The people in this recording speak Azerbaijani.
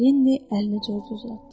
Leni əlini Corca uzatdı.